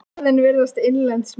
Orðin virðast innlend smíð.